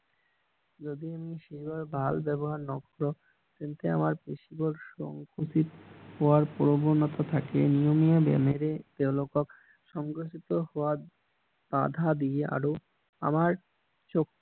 যদি আমি শৰীৰ ভাল ব্যৱহাৰ নকৰো তেন্তে আমাৰ সংকোচিত হোৱাৰ প্ৰয়োজনিয়তা থাকে নিয়মীয়া ব্যায়ামেৰে তেওঁলোকক সংঘটিত হোৱাত বাধা দিয়ে আৰু আমাৰ